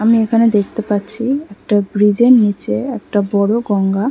আমি এখানে দেখতে পাচ্ছি একটা ব্রিজের নিচে একটা বড়ো গঙ্গা।